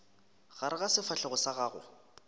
gare ga sefahlego sa gago